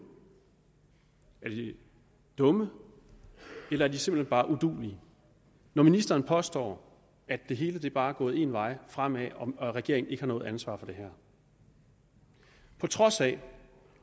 er de dumme eller er de simpelt hen bare uduelige når ministeren påstår at det hele bare er gået én vej fremad og at regeringen ikke har noget ansvar for det her på trods af